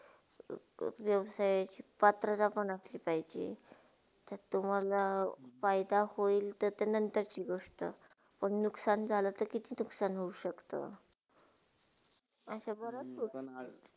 व्यवसाय पत्रदाखवण असली पाहिजे, तर तुम्हाला फायदा होईल ती ते नंतरची गोष्टा पण नुकसान झालातर कित्ती नुकसान हो शक्त असा बराच